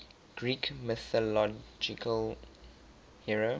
greek mythological hero